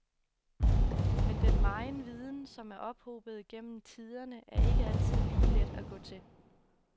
Men den megen viden, som er ophobet gennem tiderne, er ikke altid lige let at gå til.